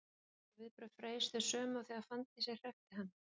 Voru viðbrögð Freys þau sömu og þegar Fanndísi hrekkti hann?